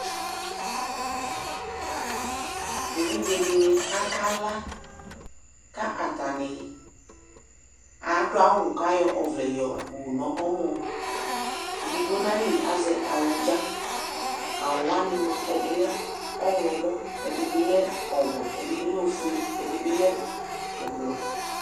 Evidze di ni akala kʋ atani adʋ awʋ kʋ ayɔ ɔvlɛ yɔwu nɛmɔ Edigbo nayili azɛ awʋdza Awʋ wani moa, ɛdini lɛ ɔwlɔmɔ, ɛdi bi lɛ ɔwɛ, ɛdi bi lɛ ofue, ɛdi bi lɛ ʋblʋɔ